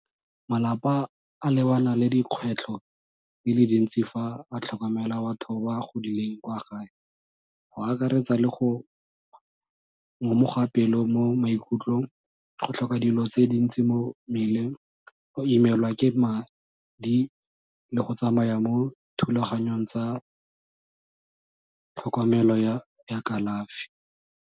Malapa a lebana le dikgwetlho di le dintsi fa a tlhokomela batho ba ba godileng kwa gae, go akaretsa le go ngomoga pelo mo maikutlong, go tlhoka dilo tse dintsi mo mmeleng, go imelwa ke madi le go tsamaya mo thulaganyong tsa tlhokomelo ya kalafi.